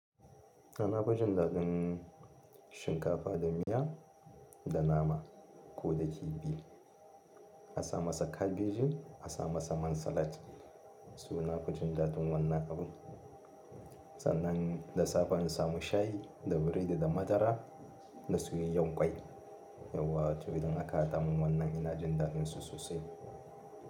Nafi jin daɗin shinkafa da miya da nama ko da kifi. Asa masa kabeji, asa masa man salat. So nafi jin daɗin wannan abun. Sannan da safe in samu shayi da biredi da madara da soyayyen kwai. Yauwa to idan aka haɗa mun wannan ina jin daɗinsu sosai.